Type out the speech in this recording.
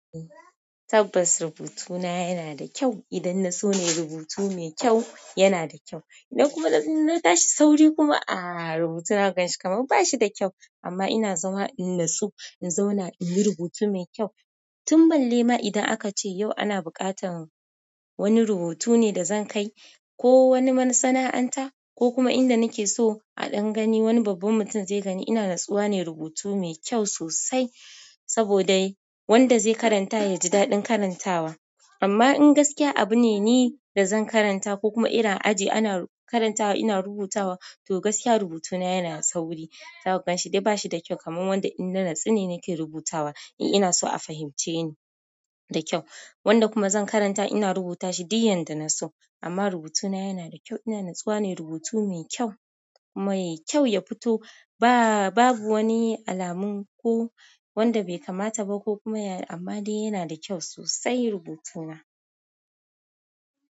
Tabbas rubutuna yana da kyau. Idan na so na yi rubutu mai kyau, yana da kyau. Idan kuma na tashi sauri kuma aa rubutuna zaka ganshi kamar bashi da kyau. Amma ina zama ina so in zauna in yi rubutu mai kyau. Tun ban lema idan aka ce yau ana buƙatar wani rubutu ne da zan kai. Ko wani masana'anta, ko kuma inda nake so a ɗan gani wani babban mutum zai gani. Ina natsuwa ne rubutu mai kyau sosai. Saboda wanda zai karanta ya ji daɗin karantawa. Amma in gaskiya abu ne ni da zan karanta ko kuma irin aji ana karantawa ina rubutawa to gaskiya rubutuna yana sauri. Zako ganshi dai ba shi da kyau kamar wanda ina natsu ne nake rubutawa. In ina so a fahimce ni da kyau. Wanda kuma zan karanta ina rubuta shi diyyan da na so. Amma rubutuna yana da kyau. Ina natsuwa ne rubutu mai kyau. Kuma yai kyau ya fito. Ba, babu wani alamun ko wanda bai kamata ba ko kuma ya, amma dai yana da kyau sosai rubutuna.